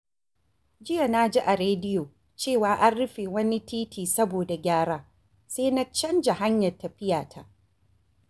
Jiya na ji a rediyo cewa an rufe wani titi saboda gyara, sai na canza hanyar tafiyata.